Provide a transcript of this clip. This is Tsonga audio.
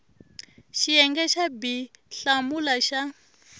xiyenge xa b hlamula xa